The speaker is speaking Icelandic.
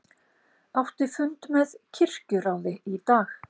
Átti fund með kirkjuráði í dag